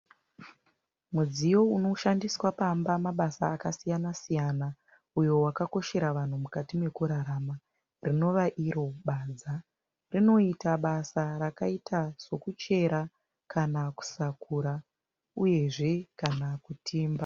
Mudziwo unoshandiswa pamba mabasa akasiyana siyana uyo wakakoshera vanhu mukati mekurarama rinova iro badza. Unoita basa rakaita sekuchera kana kusakura uyezve kana kutimba.